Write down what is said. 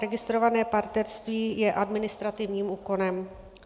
Registrované partnerství je administrativním úkonem.